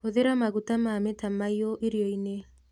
Hũthĩra maguta ma mĩtamaĩ yũ irio-inĩ